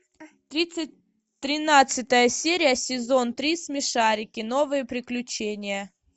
тридцать тринадцатая серия сезон три смешарики новые приключения